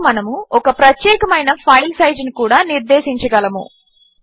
ఇంకా మనము ఒక ప్రత్యేకమైన ఫైల్ సైజును కూడా నిర్దేశించగలము